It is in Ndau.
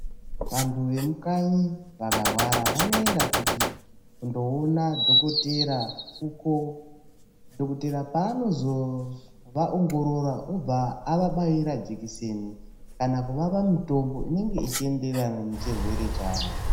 Vantu vemukanyi vakarwara vanoenda kundoona dhokotera uko dhokotera paanozo vaongorora obva avabaira jikiseni kana kuvapa mitombo inenge ichienderana nechirwere chavo.